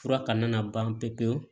Fura kana na ban pewu pewu